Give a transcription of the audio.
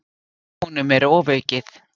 Honum er ofaukið.